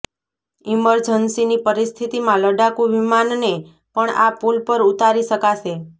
ઈમર્જન્સીની પરિસ્થિતિમાં લડાકૂ વિમાનને પણ આ પુલ પર ઉતારી શકાશે